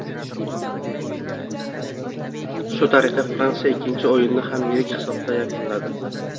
Shu tariqa Fransiya ikkinchi o‘yinni ham yirik hisobda yakunladi.